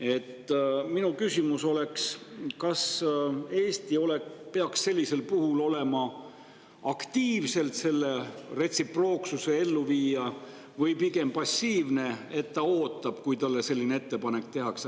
Aga minu küsimus oleks, kas Eesti peaks sellisel puhul olema aktiivselt selle retsiprooksuse elluviija või pigem passiivne, nii et ta ootab, kuni talle selline ettepanek tehakse.